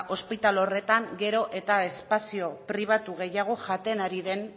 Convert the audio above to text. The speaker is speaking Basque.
ospitale horretan gero eta espazio pribatu gehiago jaten ari den